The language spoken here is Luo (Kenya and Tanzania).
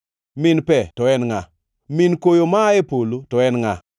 Min pe to en ngʼa? Min koyo maa e polo to en ngʼa,